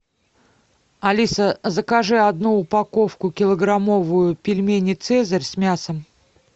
алиса закажи одну упаковку килограммовую пельмени цезарь с мясом